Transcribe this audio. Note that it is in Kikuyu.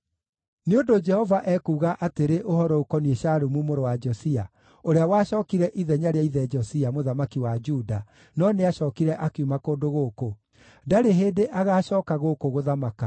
Nĩ ũndũ Jehova ekuuga atĩrĩ ũhoro ũkoniĩ Shalumu mũrũ wa Josia, ũrĩa wacookire ithenya rĩa ithe Josia, mũthamaki wa Juda, no nĩacookire akiuma kũndũ gũkũ: “Ndarĩ hĩndĩ agaacooka gũkũ gũthamaka.